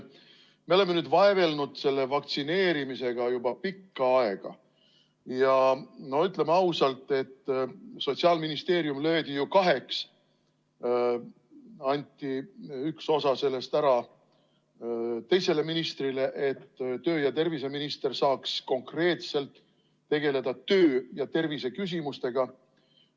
Me oleme vaevelnud vaktsineerimisega juba pikka aega ja ütleme ausalt: Sotsiaalministeerium löödi ju kaheks, anti üks osa sellest ära teisele ministrile, et töö- ja terviseminister saaks konkreetselt tegeleda töö- ja terviseküsimustega.